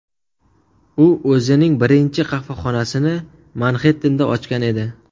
U o‘zining birinchi qahvaxonasini Manxettenda ochgan edi.